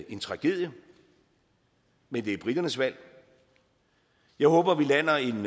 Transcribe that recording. en tragedie men det er briternes valg jeg håber vi lander en